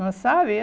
Não sabe?